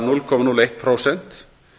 núll komma núll eitt prósent